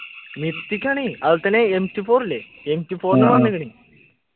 mythic ആണേ അതുപോലെ തന്നെ m two four ഇല്ലേ m two four വന്നേക്ക്ണ്